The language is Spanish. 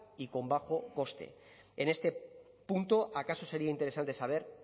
y con bajo coste en este punto acaso sería interesante saber